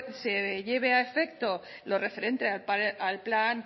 se lleve a efecto lo referente a al plan